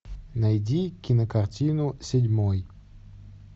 найди кинокартину седьмой